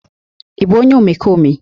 Ị bụ onye omekome?